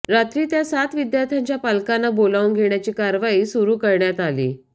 रात्री त्या सात विद्यार्थ्यांच्या पालकांना बोलावून घेण्याची कारवाई सुरू करण्यात आली